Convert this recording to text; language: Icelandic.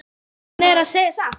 Hann er að segja satt.